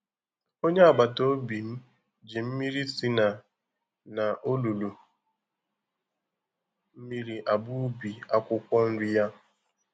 Onye agbata obim ji mmiri si na n'olulu mmiri agba ubi akwụkwọ nri ya